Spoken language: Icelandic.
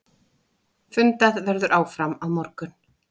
Fundað verður áfram á morgun.